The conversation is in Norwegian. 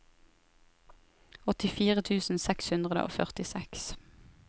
åttifire tusen seks hundre og førtiseks